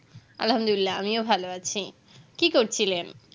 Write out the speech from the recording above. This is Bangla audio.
আল্হামদুলিলা আমিও ভালো আছি কি করছিলেন